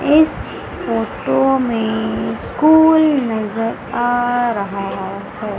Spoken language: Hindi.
इस फोटो में स्कूल नजर आ रहा है।